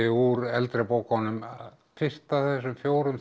úr eldri bókunum í fyrstu af þessum fjórum